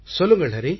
சொல்லுங்கள் ஹரி